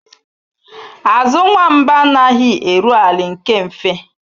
Azụ nwamba anaghị eru ala nke mfe